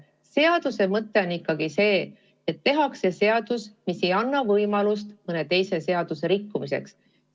Seaduse mõte on teha ikkagi selline seadus, mis ei anna võimalust mõnd teist seadust rikkuda.